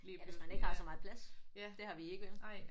Ja hvis man ikke har så meget plads. Det har vi ikke vel